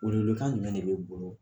Welewelekan jumɛn de bɛ e bolo?